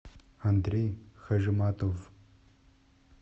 андрей хажиматов